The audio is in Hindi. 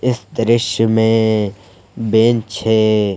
इस दृश्य में बेंच है।